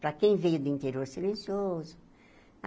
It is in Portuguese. Para quem veio de interior, silencioso. Ah